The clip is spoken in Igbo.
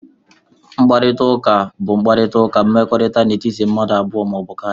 Mkparịta ụka bụ mkparịta ụka mmekọrịta n'etiti mmadụ abụọ ma ọ bụ karịa